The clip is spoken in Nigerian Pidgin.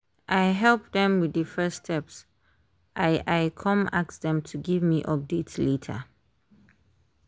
i help dem with the first steps i i come ask dem to give me update later.